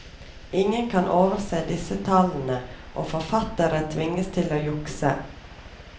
Ingen kan overse disse tallene, og forfattere tvinges til å jukse.